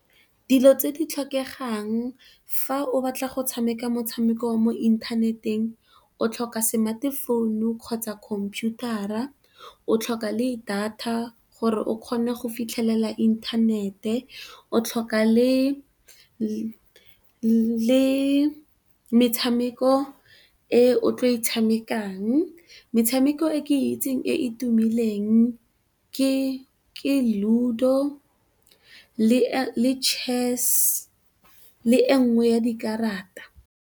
Dilo tse di tlhokegang fa o batla go tshameka motshameko mo inthaneteng o tlhoka semate founu, kgotsa khomphutara o tlhoka le data gore o kgone go fitlhelela inthanete, o tlhoka le metshameko e o tlo e tshamekang. Metshameko e ke itseng e e tumileng ke Ludo, le Chess le e nngwe ya dikarata.